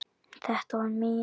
Þetta var mín.